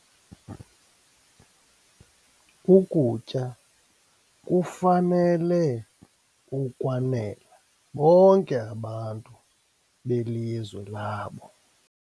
Ukutya kufanele ukwanela bonke abantu belizwe labo.